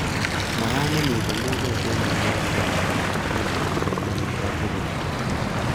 Makati nemitei mulot eng nguno konyoru toretet kobun chemeli nebo tulwer